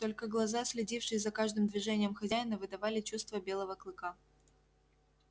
только глаза следившие за каждым движением хозяина выдавали чувства белого клыка